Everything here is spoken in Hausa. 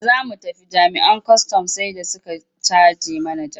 Da za mu tafi jami'an kwastam sai da suka caje mana jaka.